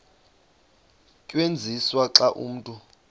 tyenziswa xa umntu